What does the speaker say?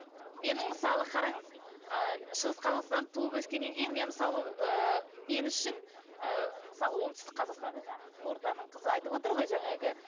менің мысалы қараңыз ы шығыс қазақстанда туып өскеннен кейін мен мысалы ыыы мен үшін ы мысалы оңтүстік қазақстанда жаңағы қызылорданың қызы айтып отыр ғой жаңағы